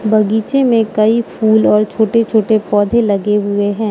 बागीचे में कई फूल और छोटे छोटे पौधे लगे हुए हैं।